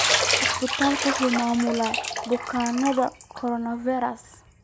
Isbitaalku waxa uu maamulaa bukaannada coronavirus.